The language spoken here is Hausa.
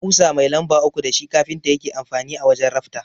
Ƙusa mai lamba uku dashi kafinta yake amfani a wajan rafta.